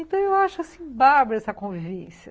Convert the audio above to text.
Então eu acho, assim, bárbaro essa convivência.